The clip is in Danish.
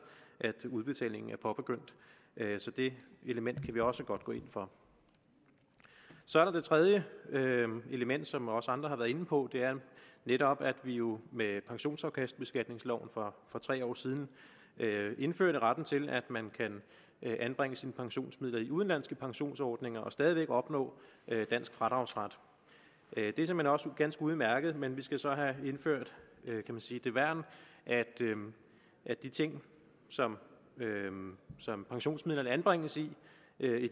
at udbetalingen er påbegyndt så det element kan vi også godt gå ind for så er der det tredje element som også andre har været inde på og det er netop at vi jo med pensionsafkastbeskatningsloven for tre år siden indførte retten til at man kan anbringe sine pensionsmidler i udenlandske pensionsordninger og stadig væk opnå dansk fradragsret det er såmænd også ganske udmærket men vi skal så have indført kan vi sige det værn at de ting som som pensionsmidlerne anbringes i